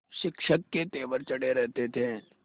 शिक्षक के तेवर चढ़े रहते थे